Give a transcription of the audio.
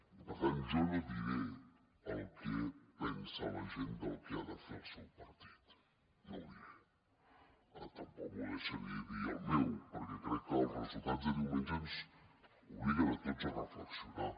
i per tant jo no diré el que pensa la gent del que ha de fer el seu partit no ho diré tampoc m’ho deixaré dir del meu perquè crec que els resultats de diumenge ens obliguen a tots a reflexionar